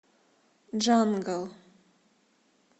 джангл